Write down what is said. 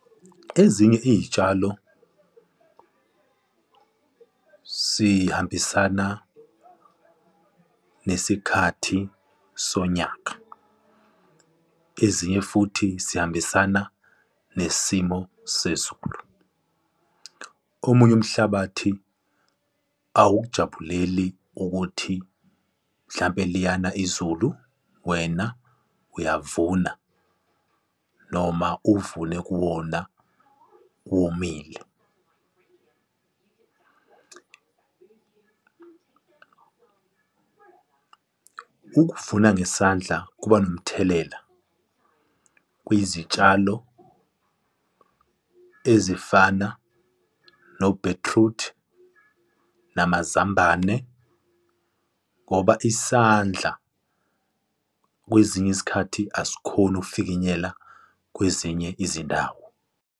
Ezinye iy'tshalo zihambisana nesikhathi sonyaka, ezinye futhi zihambisana nesimo sezulu. Omunye umhlabathi awukujabuleli ukuthi mhlampe liyana izulu, wena uyavuna noma uvune kuwona womile. Ukuvuna ngesandla kuba nomthelela kwizitshalo ezifana nobhithrudi, namazambane ngoba isandla, kwezinye izikhathi asikhoni ukufinyelela kwezinye izindawo.